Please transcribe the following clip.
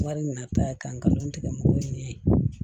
Wari min na ta ye k'an ka dɔn tigɛ mɔgɔw ye ɲɛ yen